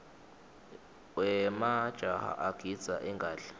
wemajaha agidza ingadla